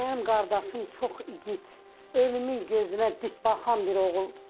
Mənim qardaşım çox igid, ölümün gözünə dik baxan bir oğuldur.